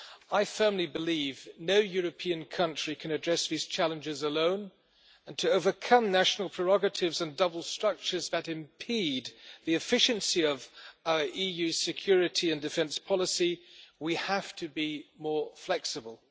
I firmly believe no European country can address these challenges alone, and to overcome national prerogatives and double structures that impede the efficiency of EU security and defence policy, we have to be more flexible.